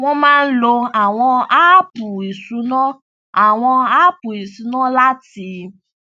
wọn máa ń lo àwọn áàpù ìṣúná àwọn áàpù ìṣúná láti